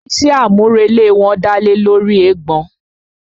Iṣé àmúrelé wọn dálé lóri eégbọn.